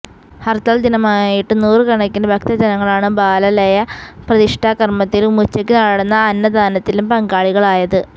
ഹര്ത്താല് ദിനമായിരുന്നിട്ടും നൂറുക്കണക്കിന് ഭക്തജനങ്ങളാണ് ബാലാലയ പ്രതിഷ്ഠാ കര്മ്മത്തിലും ഉച്ചക്ക് നടന്ന അന്നദാനത്തിലും പങ്കാളികളായത്